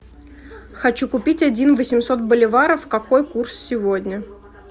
хочу купить один восемьсот боливаров какой курс сегодня